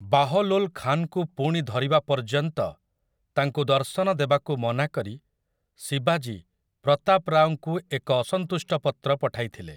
ବାହଲୋଲ୍ ଖାନ୍‌ଙ୍କୁ ପୁଣି ଧରିବା ପର୍ଯ୍ୟନ୍ତ ତାଙ୍କୁ ଦର୍ଶନଦେବାକୁ ମନା କରି ଶିବାଜୀ ପ୍ରତାପ୍ ରାଓଙ୍କୁ ଏକ ଅସନ୍ତୁଷ୍ଟ ପତ୍ର ପଠାଇଥିଲେ ।